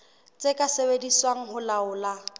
tse ka sebediswang ho laola